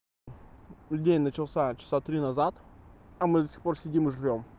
день начался часа три назад а мы до сих пор сидим и ждём